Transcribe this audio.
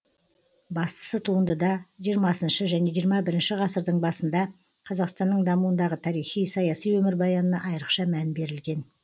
бастысы туындыда жиырмасыншы және жиырма бірінші ғасырдың басында қазақстанның дамуындағы тарихи саяси өмірбаянына айрықша мән берілген